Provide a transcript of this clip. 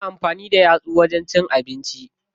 Ana amfani da yatsu wajen cin abinci.